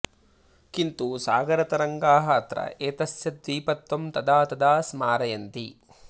किन्तु सागरतरङ्गाः अत्र एतस्य द्वीपत्वं तदा तदा स्मारयन्ति